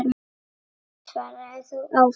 Þannig svaraði þú ávallt.